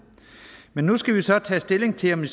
men nu skal vi så tage stilling til om